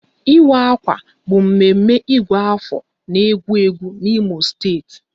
Ịwa akwa bụ mme mme Ịgụ afọ n'ewu ewu n'Imo steeti